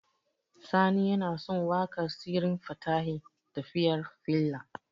Sani yana son waƙar Sirrin Fatahi "Tafiyar Faila".